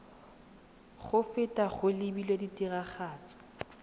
go feta go lebilwe tiragatso